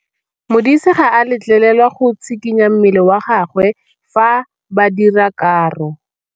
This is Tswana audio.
Modise ga a letlelelwa go tshikinya mmele wa gagwe fa ba dira karô.